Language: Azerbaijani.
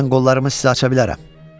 Mən qollarımı sizə aça bilərəm.